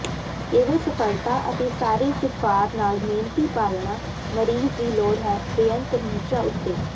ਕੇਵਲ ਸਫਲਤਾ ਅਤੇ ਸਾਰੇ ਿਸਫ਼ਾਰ ਨਾਲ ਮਿਹਨਤੀ ਪਾਲਣਾ ਮਰੀਜ਼ ਦੀ ਲੋੜ ਹੈ ਬੇਅੰਤ ਨਿਹਚਾ ਉੱਤੇ